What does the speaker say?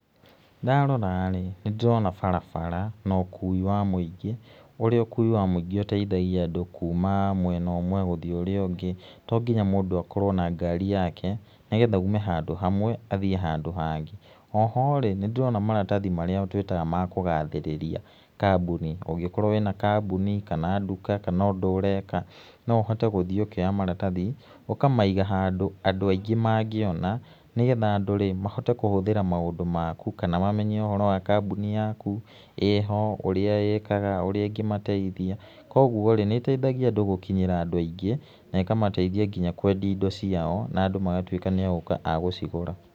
Ndarorarĩ nĩndũĩrona barabara na ũkũi wa mũingĩ, ũrĩa ũkũi wa mũingĩ ũteithagia andũ kũma mwena ũmwe gũthiĩ ũrĩa ũngĩ, tonginya mũndũ akorwo na ngari yake, nĩgetha aũme handũ hamwe athiĩ handũ hangĩ. O ho rĩ nĩndĩrona maratathi marĩa twĩtaga ma kũgathĩrĩria kambũni. Ũngĩkorwo wĩna kambũni, kana ndũka kana ũndũ ũreka noũhote gũthiĩ ũkĩoya maratathi ũkamaiga handũ angũ aingĩ mangĩona, nĩgetha andũrĩ mahote kũhũthĩra maũndũ makũ kana mamenye ũhoro wa kambũni yakũ, ĩho ũrĩa ĩkaga, ũrĩa ĩngĩmateithia. Koguo-rĩ nĩĩteithagia andũ gũkinyĩra andũ aingĩ, na ĩkamateithia nginya kwendia indo ciao na andũ magatũĩka nĩ agũka agũcigũra.